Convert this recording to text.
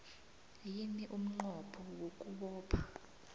yini umnqopho wokubopha